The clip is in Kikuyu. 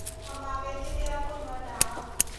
Na magĩtĩkĩra kũnyua ndawa